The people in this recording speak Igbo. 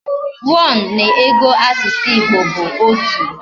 One na ego asusu Igbo bu otu